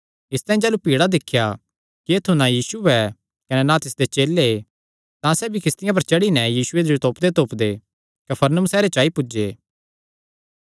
इसतांई जाह़लू भीड़ा दिख्या कि ऐत्थु ना यीशु ऐ कने ना तिसदे चेले तां सैह़ भी किस्तियां पर चढ़ी नैं यीशुये जो तोपदेतोपदे कफरनहूम सैहरे च आई पुज्जे